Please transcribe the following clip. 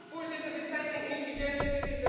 Voorzitter, dit zijn geen incidenten.